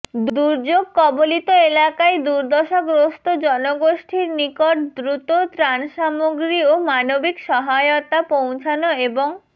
দুর্যোগ কবলিত এলাকায় দুর্দশাগ্রস্ত জনগোষ্ঠীর নিকট দ্রুত ত্রাণসামগ্রী ও মানবিক সহায়তা পৌঁছানো এবং